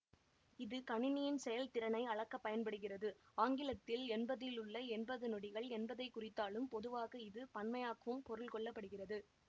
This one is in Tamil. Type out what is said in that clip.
இது கணினியின் செயல்திறனை அளக்க பயன்படுகிறது ஆங்கிலத்தில் என்பதிலுள்ள என்பது நொடிகள் என்பதை குறித்தாலும் பொதுவாக இது பன்மையாக்வும் பொருள் கொள்ள படுகிறது